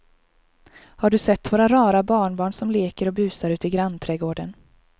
Har du sett våra rara barnbarn som leker och busar ute i grannträdgården!